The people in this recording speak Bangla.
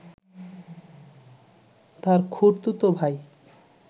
তাঁর খুড়তুতো ভাই